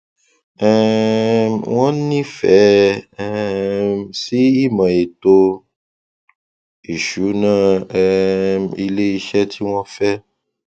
um wọn nífẹẹ um sí ìmò ètò ìsúná um ilé iṣẹ tí wọn fẹ